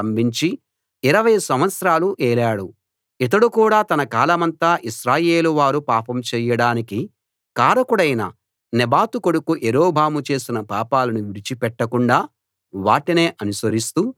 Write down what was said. ఇతడు కూడా తన కాలమంతా ఇశ్రాయేలు వారు పాపం చెయ్యడానికి కారకుడైన నెబాతు కొడుకు యరొబాము చేసిన పాపాలను విడిచి పెట్టకుండా వాటినే అనుసరిస్తూ యెహోవా దృష్టిలో చెడుతనం జరిగించాడు